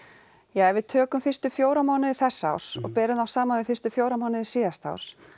ja ef við tökum fyrstu fjóra mánuði þessa árs og berum þá saman við fyrstu fjóra mánuði síðasta árs